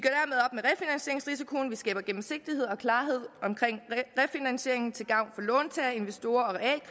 skaber gennemsigtighed og klarhed omkring refinansieringen til gavn for låntagere investorer